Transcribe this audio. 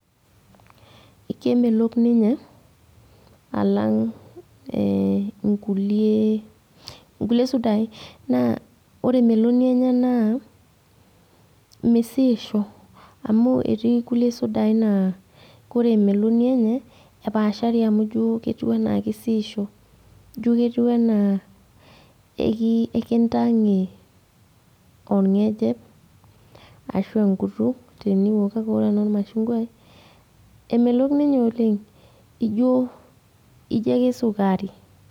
Kemelok ninye, alang' inkulie sudai. Naa ore emeloni enye naa, misiisho. Amu etii kulie sudai naa kore emeloni enye, epaashari amu ijo ketiu enaa kisiisho. Jo ketiu enaa enkintang'e orng'ejep, ashu enkutuk teniok. Kake ore ena ormashungwai, emelok ninye oleng, ijo ake sukari.